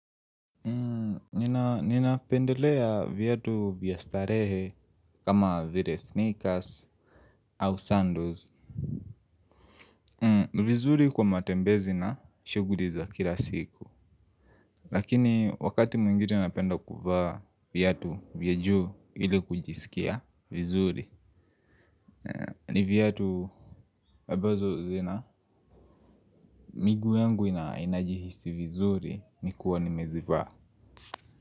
Ninapendelea viatu vya starehe kama vile sneakers au sandals. Vizuri kwa matembezi na shughuli za kila siku. Lakini wakati mwingine napenda kuva viatu vya juu ili kujisikia vizuri. Ni viatu ambazo zina miguu yangu inajihisi vizuri nikuwa nimezivaa.